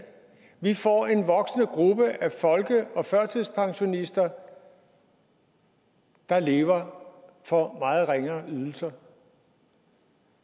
vi får en voksende gruppe af folke og førtidspensionister der lever for meget ringere ydelser